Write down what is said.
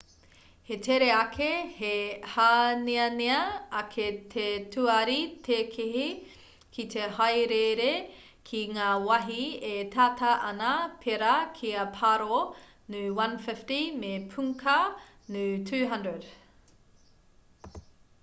he tere ake he hāneanea ake te tuari tēkehi ki te haereere ki ngā wahi e tata ana pērā ki a paro nu 150 me punkha nu 200